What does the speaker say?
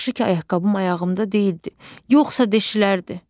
Yaxşı ki, ayaqqabım ayağımda deyildi, yoxsa deşilərdi.